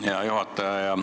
Hea juhataja!